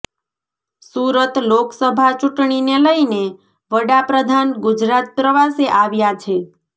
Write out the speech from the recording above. સુરતઃ લોકસભા ચૂંટણીને લઈને વડાપ્રધાન ગુજરાત પ્રવાસે આવ્યા છે